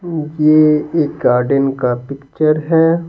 ये एक गार्डन का पिक्चर है।